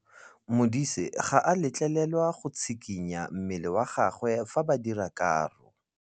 Modise ga a letlelelwa go tshikinya mmele wa gagwe fa ba dira karô.